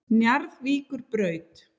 Njarðvíkurbraut